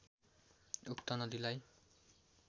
उक्त नदीलाई